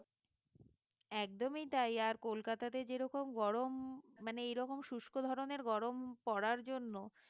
একদমই তাই আর কলকাতাতে যেরকম গরম মানে এরকম শুষ্ক ধরনের গরম পড়ার জন্য